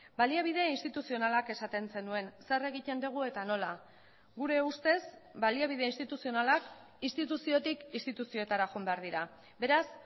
baliabide instituzionalak esaten zenuen zer egiten dugu eta nola gure ustez baliabide instituzionalak instituziotik instituzioetara joan behar dira beraz